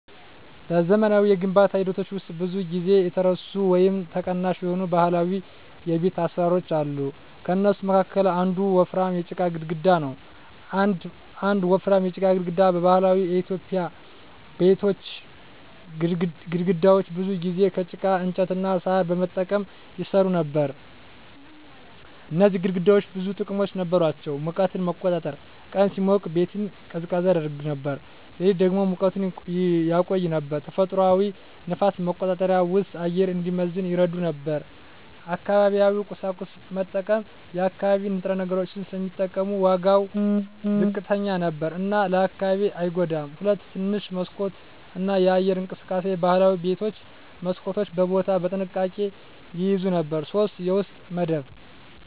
በዘመናዊ የግንባታ ሂደቶች ውስጥ ብዙ ጊዜ የተረሱ ወይም ተቀናሽ የሆኑ ባህላዊ የቤት አሰራሮች አሉ። ከእነሱ መካከል አንዱ ወፍራም የጭቃ ግድግዳ ነው። 1. ወፍራም የጭቃ ግድግዳ በባህላዊ ኢትዮጵያዊ ቤቶች ግድግዳዎች ብዙ ጊዜ ከጭቃ፣ እንጨት እና ሣር በመጠቀም ይሰሩ ነበር። እነዚህ ግድግዳዎች ብዙ ጥቅሞች ነበራቸው፦ ሙቀትን መቆጣጠር – ቀን ሲሞቅ ቤቱን ቀዝቃዛ ያደርገው ነበር፣ ሌሊት ደግሞ ሙቀቱን ያቆይ ነበር። ተፈጥሯዊ ንፋስ መቆጣጠር – ውስጡ አየር እንዲመዘን ይረዳ ነበር። አካባቢያዊ ቁሳቁስ መጠቀም – የአካባቢ ንጥረ ነገሮች ስለሚጠቀሙ ዋጋው ዝቅተኛ ነበር እና ለአካባቢው አይጎዳም። 2. ትንሽ መስኮት እና የአየር እንቅስቃሴ ባህላዊ ቤቶች መስኮቶችን በቦታ በጥንቃቄ ይያዙ ነበር። 3. የውስጥ መደብ